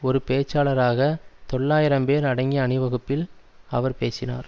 ஒரு பேச்சாளராக தொள்ளாயிரம் பேர் அடங்கிய அணிவகுப்பில் அவர் பேசினார்